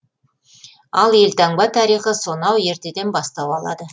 ал елтаңба тарихы сонау ертеден бастау алады